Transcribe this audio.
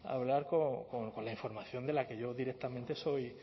hablar con la información de la que yo directamente soy